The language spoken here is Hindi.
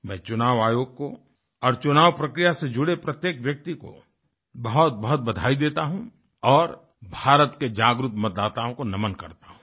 मैं चुनाव आयोग को और चुनाव प्रक्रिया से जुड़े प्रत्येक व्यक्ति को बहुतबहुत बधाई देता हूँ और भारत के जागरूक मतदाताओं को नमन करता हूँ